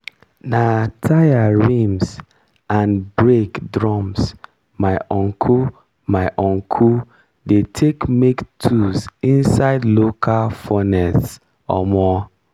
na tyre rims and brake drums my uncle my uncle dey take make tools inside local furnace. um